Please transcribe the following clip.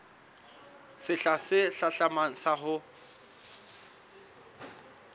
sehla se hlahlamang sa ho